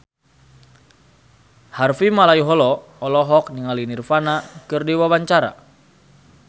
Harvey Malaiholo olohok ningali Nirvana keur diwawancara